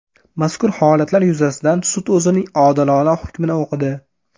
Mazkur holatlar yuzasidan sud o‘zining odilona hukmini o‘qidi.